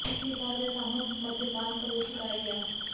तीसरी बार वह सामूहिक मद्यपान का दोषी पाया गया